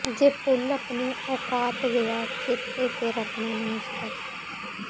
ਜੇ ਭੁੱਲ ਆਪਣੀ ਔਕਾਤ ਗਿਆ ਚੇਤੇ ਫਿਰ ਆਪਣਾ ਨਾਸ਼ ਰੱਖ